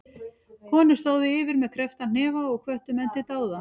Konur stóðu yfir með kreppta hnefa og hvöttu menn til dáða.